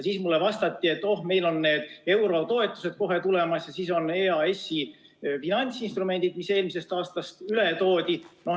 Siis mulle vastati, et oh, meil on eurotoetused kohe tulemas ja on EAS-i finantsinstrumendid, mis eelmisest aastast üle toodi.